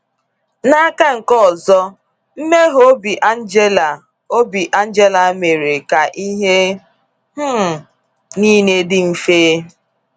N’aka nke ọzọ, mmeghe obi Angela obi Angela mere ka ihe um niile dị mfe.